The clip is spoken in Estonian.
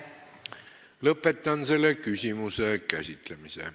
Lõpetan selle küsimuse käsitlemise.